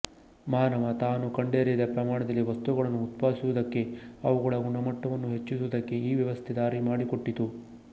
ಮಾನವ ತಾನು ಕಂಡರಿಯದ ಪ್ರಮಾಣದಲ್ಲಿ ವಸ್ತುಗಳನ್ನು ಉತ್ಪಾದಿಸುವುದಕ್ಕೆ ಅವುಗಳ ಗುಣಮಟ್ಟವನ್ನು ಹೆಚ್ಚಿಸುವುದಕ್ಕೆ ಈ ವ್ಯವಸ್ಥೆ ದಾರಿ ಮಾಡಿಕೊಟ್ಟಿತು